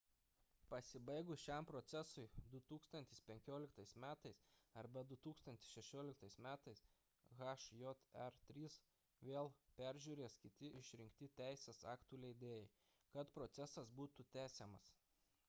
pasibaigus šiam procesui 2015 m arba 2016 m hjr-3 vėl peržiūrės kiti išrinkti teisės aktų leidėjai kad procesas būtų tęsiamas